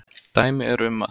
Dæmi eru um að